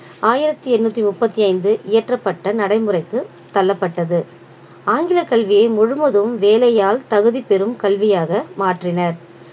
ஆயிரத்தி எண்ணூத்தி முப்பத்தி ஐந்து இயற்றப்பட்ட நடைமுறைக்கு தள்ளப்பட்டது ஆங்கில கல்வியை முழுவதும் வேலையால் தகுதிப்பெறும் கல்வியாக மாற்றினர்